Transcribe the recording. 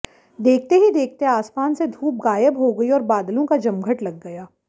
देखते ही देखते आसमान से धूप गायब हो गई और बादलों का जमघट लग गया